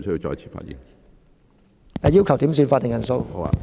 主席，我要求點算法定人數。